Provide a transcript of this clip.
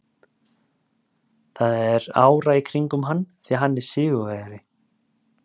Það er ára í kringum hann því hann er sigurvegari.